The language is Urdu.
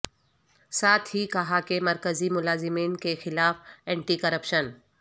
ساتھ ہی کہا کہ مرکزی ملازمین کے خلاف اینٹی کرپشن